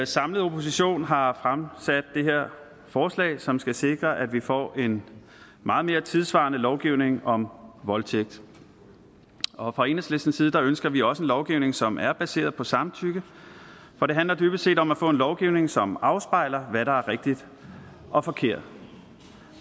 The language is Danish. samlet opposition har fremsat det her forslag som skal sikre at vi får en meget mere tidssvarende lovgivning om voldtægt og fra enhedslistens side ønsker vi også en lovgivning som er baseret på samtykke for det handler dybest set om at få en lovgivning som afspejler hvad der er rigtigt og forkert